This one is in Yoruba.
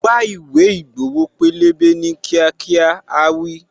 Wá ìwé ìgbowo pélébé ní kíákíá', áá wí.